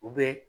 U bɛ